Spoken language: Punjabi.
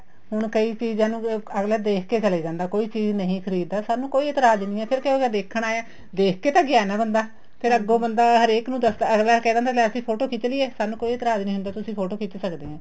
ਹੁਣ ਕਈ ਚੀਜ਼ਾਂ ਨੂੰ ਅੱਗਲਾ ਦੇਖਕੇ ਚਲੇ ਜਾਂਦਾ ਕੋਈ ਚੀਜ਼ ਨਹੀਂ ਖ਼ਰੀਦ ਦਾ ਸਾਨੂੰ ਕੋਈ ਇਤਰਾਜ਼ ਨਹੀਂ ਏ ਫ਼ਿਰ ਕੀ ਉਹ ਗਿਆ ਦੇਖਣ ਆਇਆ ਦੇਖਕੇ ਤਾਂ ਗਿਆ ਹੈ ਨਾ ਬੰਦਾ ਫ਼ੇਰ ਅੱਗੋ ਬੰਦਾ ਹਰੇਕ ਨੂੰ ਦੱਸਦਾ ਅੱਗਲਾ ਕਿਹਾ ਕਹਿੰਦਾ ਅਸੀਂ ਫ਼ੋਟੋ ਖਿੱਚ ਲਈਏ ਸਾਨੂੰ ਕੋਈ ਇਤਰਾਜ਼ ਨਹੀਂ ਹੁੰਦਾ ਤੁਸੀਂ ਫ਼ੋਟੋ ਖਿੱਚ ਸਕਦੇ ਆ